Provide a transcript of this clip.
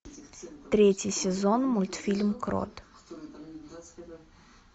третий сезон мультфильм крот